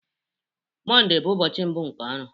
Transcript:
Mondee bụ ụbọchị mbụ nke ọrụ